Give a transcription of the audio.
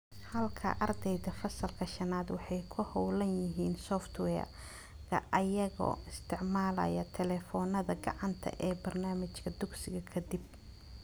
Halkaa, ardayda Fasalka shanaad waxay ku hawlan yihiin software-ka iyagoo isticmaalaya taleefoonnada gacanta ee barnaamijka dugsiga ka dib.